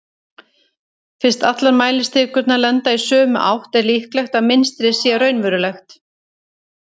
fyrst allar mælistikurnar benda í sömu átt er líklegt að mynstrið sé raunverulegt